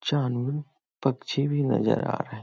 जानून पक्षी भी नजर आ रहा है।